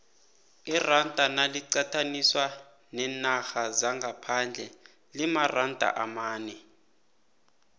iranda naliqathaniswa neenarha zangaphandle limaranda amane